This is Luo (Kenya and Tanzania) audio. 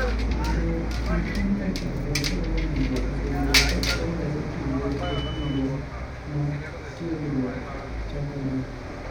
Pogruok kind Amerka kod Korea nyandwat osebedo ka chwalore kinde ka kinde ma tiegruokgo chakore.